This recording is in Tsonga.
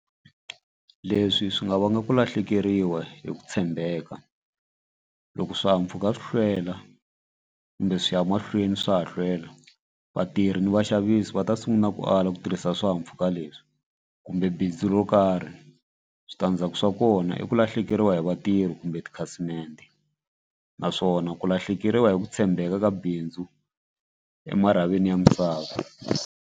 Leswi swi nga vanga ku lahlekeriwa hi ku tshembeka loko swihahampfhuka swi hlwela kumbe swi ya mahlweni swa ha hlwela vatirhi ni vaxavisi va ta sungula ku ala ku tirhisa swihahampfhuka leswi kumbe bindzu ro karhi. Switandzhaku swa kona i ku lahlekeriwa hi vatirhi kumbe tikhasimende naswona ku lahlekeriwa hi ku tshembeka ka bindzu emarhavini ya misava.